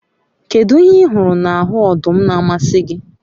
kedu ihe ihuru n'ahu odum n'amasi gi?